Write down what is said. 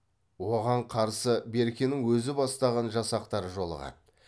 оған қарсы беркенің өзі бастаған жасақтары жолығады